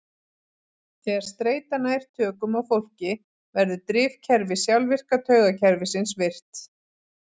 Þegar streita nær tökum á fólki verður drifkerfi sjálfvirka taugakerfisins virkt.